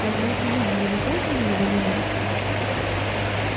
разве эти люди не заслуживали его ненависти